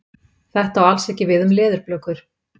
Þetta á alls ekki við um leðurblökur.